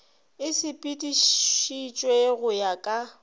e sepeditšwe go ya ka